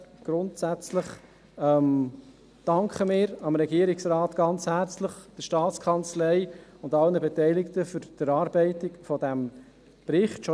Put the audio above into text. Grundsätzlich danken wir schon jetzt sehr herzlich dem Regierungsrat, der Staatskanzlei und allen Beteiligten für die Erarbeitung dieses Berichts.